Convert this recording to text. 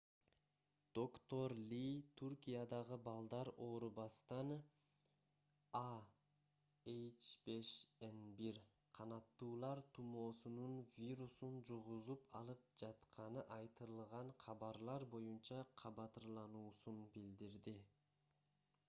доктор ли түркиядагы балдар оорубастан а h5n1 канаттуулар тумоосунун вирусун жугузуп алып жатканы айтылган кабарлар боюнча кабатырлануусун билдирди